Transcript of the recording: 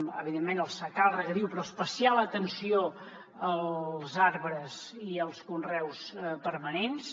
evidentment el secà el regadiu però especial atenció als arbres i als conreus permanents